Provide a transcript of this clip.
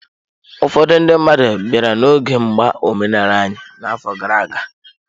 Ụfọdụ ndị mmadụ bịara n'oge mgba omenala anyị n'afọ gara aga